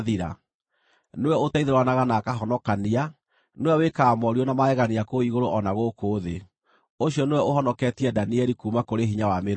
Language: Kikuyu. Nĩwe ũteithũranaga na akahonokania; nĩwe wĩkaga morirũ na magegania kũu igũrũ o na gũkũ thĩ. Ũcio nĩwe ũhonoketie Danieli kuuma kũrĩ hinya wa mĩrũũthi.”